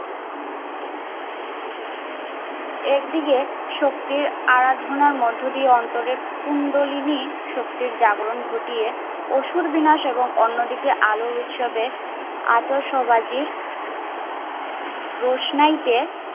একদিকে শক্তির আরাধনার মধ্যে দিয়ে অন্তরের কুন্ডলিনী শক্তির জাগরণ ঘটিয়ে অসুর বিনাশ এবং অন্যদিকে আলোর উৎসবে আতশবাজির রোশনাইতে